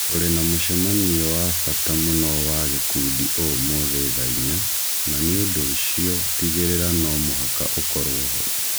Tũrĩ na mũcemanio wa bata mũno wa gĩkundi ũmũthĩ thaa inya, na nĩ ũndũ ũcio tĩgĩrĩra no mũhaka ũkorũo ho